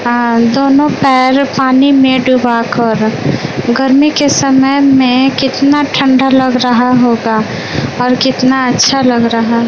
हां दोनों पैर पानी में डूबा कर गर्मी के समय में कितना ठंडा लग रहा होगा और कितना अच्छा लग रहा।